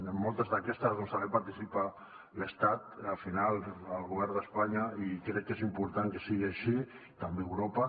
en moltes d’aquestes també hi participa l’estat al final el govern d’espanya i crec que és important que sigui així també a europa